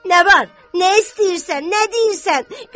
Nə var? Nə istəyirsən? Nə deyirsən?